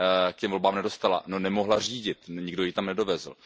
k těm volbám nedostala. No, nemohla řídit, nikdo ji tam nedovezl.